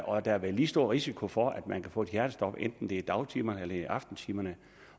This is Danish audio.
og der er vel lige stor risiko for at man kan få et hjertestop hvad enten det er i dagtimerne eller i aftentimerne